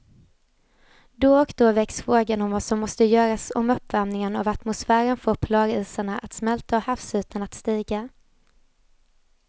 Då och då väcks frågan om vad som måste göras om uppvärmingen av atmosfären får polarisarna att smälta och havsytan att stiga.